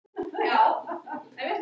Kemur þessi staða þér á óvart?